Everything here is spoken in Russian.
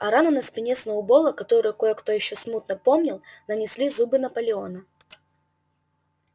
а рану на спине сноуболла которую кое-кто ещё смутно помнил нанесли зубы наполеона